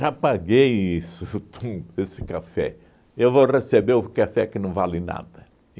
paguei isso tudo, esse café, eu vou receber o café que não vale nada.